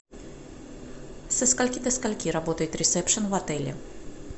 со скольки до скольки работает ресепшен в отеле